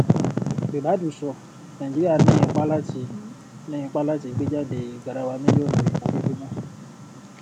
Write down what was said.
ribadu sọ nàìjíríà ní ipá láti ní ipá láti gbé jáde garawa mílíọnù epọ lójúmọ